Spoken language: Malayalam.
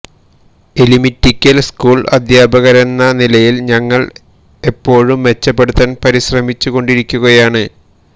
എലിമിറ്റിക്കൽ സ്കൂൾ അധ്യാപകരെന്ന നിലയിൽ ഞങ്ങൾ എപ്പോഴും മെച്ചപ്പെടുത്താൻ പരിശ്രമിച്ചുകൊണ്ടിരിക്കുകയാണ്